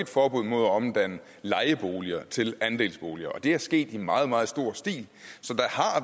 forbud mod at omdanne lejeboliger til andelsboliger det er sket i meget meget stor stil så